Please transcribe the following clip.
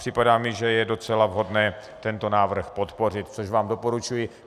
Připadá mi, že je docela vhodné tento návrh podpořit, což vám doporučuji.